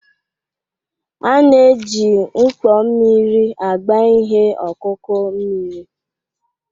A na-eji mkpo mmiri agba ihe ọkụkụ mmiri.